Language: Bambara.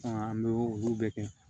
an bɛ olu bɛɛ kɛ